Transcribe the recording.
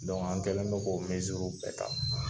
an kɛlen don k'o w bɛɛ ta.